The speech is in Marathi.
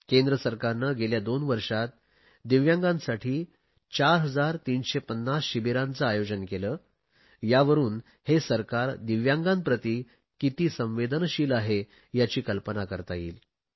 केंद्र सरकारने गेल्या दोन वर्षांत दिव्यांगांसाठी 4350 शिबिरांचे आयोजन केले यावरुन हे सरकार दिव्यांगांप्रती किती संवेदनशील आहे याची कल्पना करता येईल